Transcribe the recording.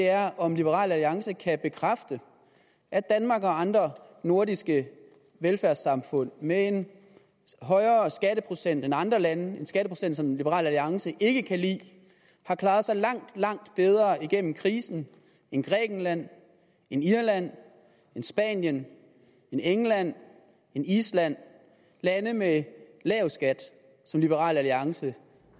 er om liberal alliance kan bekræfte at danmark og andre nordiske velfærdssamfund med en højere skatteprocent end andre land en skatteprocent som liberal alliance ikke kan lide har klaret sig langt langt bedre igennem krisen end grækenland end irland end spanien end england end island lande med lav skat som liberal alliance